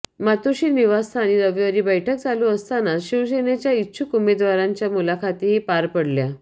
मातोश्री निवासस्थानी रविवारी बैठक चालू असतानाच शिवसेनेच्या इच्छुक उमेदवारांच्या मुलाखतीही पार पडल्या